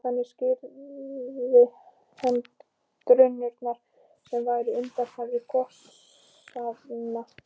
Þannig skýrði hann drunurnar sem væru undanfari gosanna.